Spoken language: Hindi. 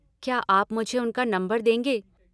क्या आप मुझे उनका नम्बर देंगे?